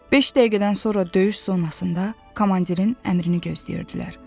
Beş dəqiqədən sonra döyüş zonasında komandirin əmrini gözləyirdilər.